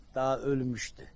Daha ölmüşdü.